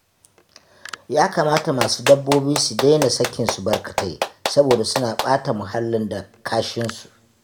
Ya kamata masu dabbobi su daina sakinsu barkatai saboda suna ɓata muhallin da kashinsu